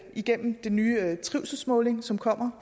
igennem den nye trivselsmåling som kommer